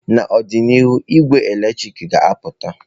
N'ọdịnihu, ị́gwẹ́ eletrik ga-apụta.